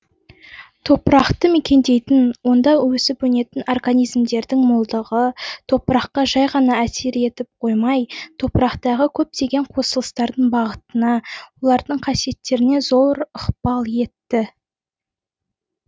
топырақты мекендейтін онда өсіп өнетін организмдердің молдығы топыраққа жай ғана әсер етіп қоймай топырақтағы көптеген қосылысардың бағытына олардың қасиеттеріне зор ықпал етті